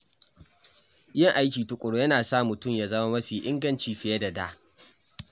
Yin aiki tukuru yana sa mutum ya zama mafi inganci fiye da da.